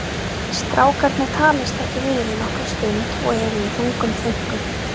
Strákarnir talast ekki við í nokkra stund og eru í þungum þönkum.